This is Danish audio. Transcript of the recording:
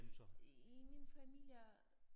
I min familie